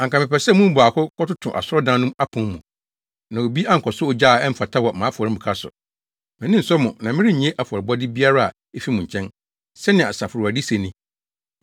“Anka mepɛ sɛ mo mu baako kɔtoto asɔre dan no apon mu, na obi ankɔsɔ ogya a ɛmfata wɔ mʼafɔremuka so! Mʼani nsɔ mo na merennye afɔrebɔde biara a efi mo nkyɛn,” sɛnea Asafo Awurade se ni.